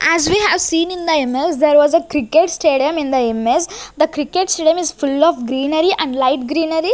As we seen in the imaze there was a cricket stadium in the imaze the cricket stadium is full of greenery and light greenery.